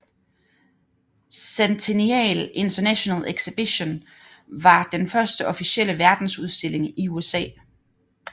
Centennial International Exhibition var den første officielle verdensudstilling i USA